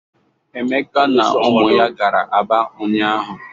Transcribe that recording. Emeka na ụmụ ya gara Aba ụnyaahụ.